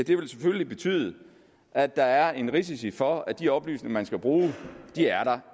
det vil selvfølgelig betyde at der er en risiko for at de oplysninger man skal bruge